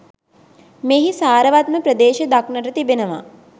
මෙහි සාරවත්ම ප්‍රදේශ දක්නට තිබෙනවා.